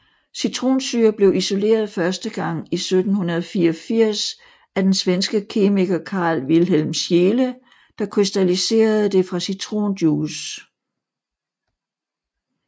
Citronsyre blev isoleret første gang i 1784 af den svenske kemiker Carl Wilhelm Scheele der krystalliserede det fra citronjuice